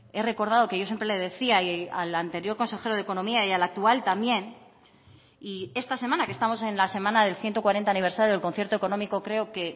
he recordado que yo siempre le decía al anterior consejero de economía y al actual también y esta semana que estamos en la semana del ciento cuarenta aniversario del concierto económico creo que